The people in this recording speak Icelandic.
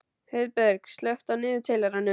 Heiðberg, slökktu á niðurteljaranum.